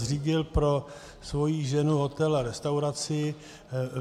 Zřídil pro svoji ženu hotel a restauraci.